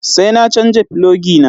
Sai na canja filogi na.